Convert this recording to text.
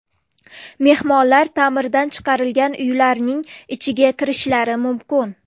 Mehmonlar ta’mirdan chiqarilgan uylarning ichiga kirishlari mumkin.